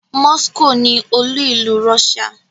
Moscow ni olú-ìlú Russia.